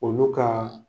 Olu ka